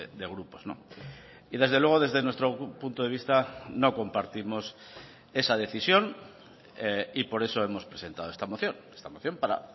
de grupos y desde luego desde nuestro punto de vista no compartimos esa decisión y por eso hemos presentado esta moción esta moción para